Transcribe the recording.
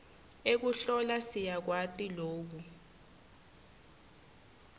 ekuhlola siyakwati loku